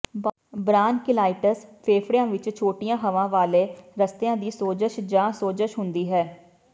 bronchiolitis ਫੇਫੜਿਆਂ ਵਿੱਚ ਛੋਟੀਆਂ ਹਵਾ ਵਾਲੇ ਰਸਤਿਆਂ ਦੀ ਸੋਜਸ਼ ਜਾਂ ਸੋਜ਼ਸ਼ ਹੁੰਦੀ ਹੈ